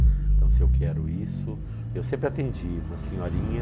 Então, se eu quero isso, eu sempre atendi uma senhorinha...